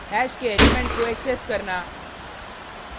hash के element को access करना